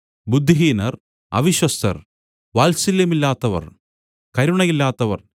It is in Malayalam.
ബുദ്ധിഹീനർ അവിശ്വസ്തർ വാത്സല്യമില്ലാത്തവർ കരുണയില്ലാത്തവർ